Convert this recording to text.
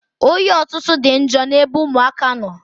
Oyi ọtụtụ dị njọ n'ebe ụmụaka nọ.